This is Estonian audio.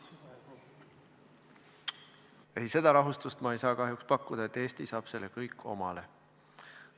Ei, seda rahustust ma ei saa kahjuks pakkuda, et Eesti saab selle kõik omale.